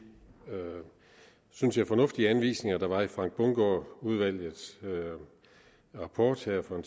synes jeg fornuftige anvisninger der var i frank bundgaard udvalgets rapport her for